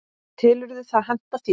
og telurðu það henta þér?